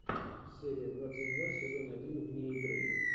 серия двадцать два сезон один вне игры